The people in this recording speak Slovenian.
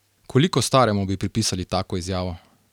Koliko staremu bi pripisali tako izjavo?